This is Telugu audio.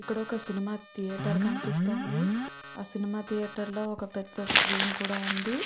ఇక్కడ ఒక సినిమా థియేటర్ కనిపిస్తుంది. ఆ సినిమా థియేటర్ లో ఒక పెద్ధ స్క్రీన్ కూడా ఉంది.